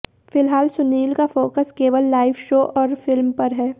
फिलहाल सुनील का फोकस केवल लाइव शो और फिल्म पर है